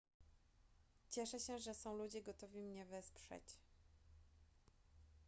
cieszę się że są ludzie gotowi mnie wesprzeć